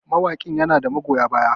mawaƙin yana da magoya baya